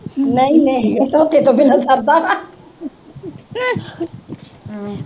ਨਹੀਂ ਨਹੀਂ ਮੂੰਹ ਧੋਤੇ ਤੋਂ ਬਿਨ੍ਹਾਂ ਸਰਦਾ ਵਾ